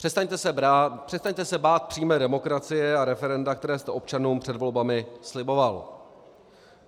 Přestaňte se bát přímé demokracie a referenda, které jste občanům před volbami sliboval.